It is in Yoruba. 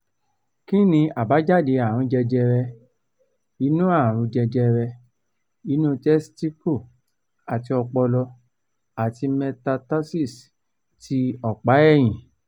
kí ni àbájáde àrùn jẹjẹrẹ inú àrùn jẹjẹrẹ inú testicle àti opolo ati metastasis ti opa eyin